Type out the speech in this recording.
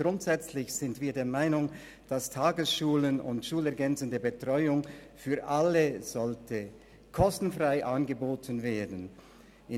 Grundsätzlich sind wir der Meinung, dass Tagesschulen und schulergänzende Betreuung für alle kostenfrei angeboten werden sollten.